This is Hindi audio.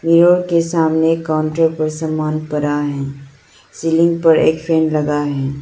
मिरर के सामने काउंटर पर सामान पड़ा है सीलिंग पर एक फैन लगा है।